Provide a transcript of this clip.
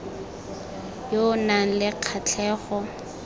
yo o nang le kgatlhego